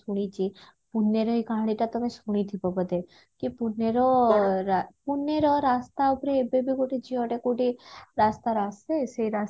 ଶୁଣିଛି ପୁନେର ଏ କାହାଣୀ ଟା ତମେ ଶୁଣିଥିବ ବୋଧେ କି ପୁନେର ରା ପୁନେର ରାସ୍ତା ଉପରେ ଏବେବି ଗୋଟେ ଝିଅଟା କଉଠି ରାସ୍ତା ରେ ଆସେ ସେ